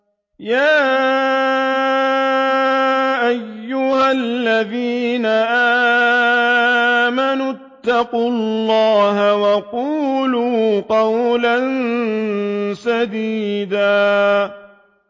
يَا أَيُّهَا الَّذِينَ آمَنُوا اتَّقُوا اللَّهَ وَقُولُوا قَوْلًا سَدِيدًا